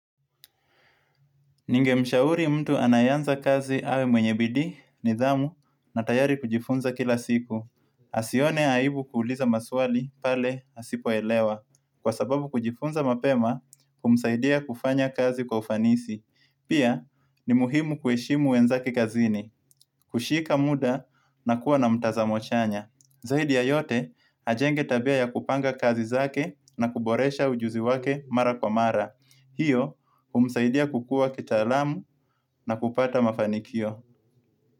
Ning mshauri mtu anayeanza kazi awe mwenye bidi, nidhamu, na tayari kujifunza kila siku. Asione aibu kuuliza maswali pale asipoelewa, kwa sababu kujifunza mapema kumsaidia kufanya kazi kufanisi. Pia, ni muhimu kueshimu wenzake kazini, kushika muda na kuwa na mtazamochanya. Zaidi ya yote, ajenge tabia ya kupanga kazi zake na kuboresha ujuzi wake mara kwa mara. Hiyo, umsaidia kukua kitaalamu na kupata mafanikio.